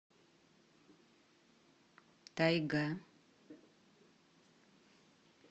тайга